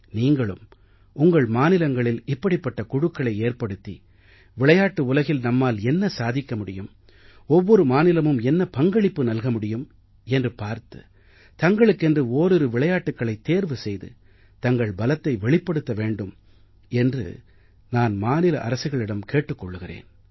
நீங்களும் உங்கள் மாநிலங்களில் இப்படிப்பட்ட குழுக்களை ஏற்படுத்தி விளையாட்டு உலகில் நம்மால் என்ன சாதிக்க முடியும் ஒவ்வொரு மாநிலமும் என்ன பங்களிப்பு நல்க முடியும் என்று பார்த்து தங்களுக்கென்று ஓரிரு விளையாட்டுக்களைத் தேர்வு செய்து தங்கள் பலத்தை வெளிப்படுத்த வேண்டும் என்று நான் மாநில அரசுகளிடம் கேட்டுக் கொள்கிறேன்